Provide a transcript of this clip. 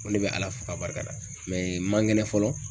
N ko ne bɛ ala fo barikada n mankɛnɛ fɔlɔ